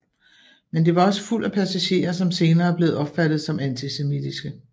Men det var også fuldt af passager som senere er blevet opfattet som antisemitiske